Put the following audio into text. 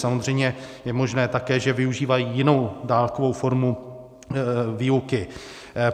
Samozřejmě je možné také, že využívají jinou dálkovou formu výuky.